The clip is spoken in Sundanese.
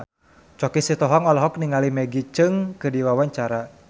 Choky Sitohang olohok ningali Maggie Cheung keur diwawancara